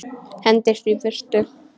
Hendist í burtu.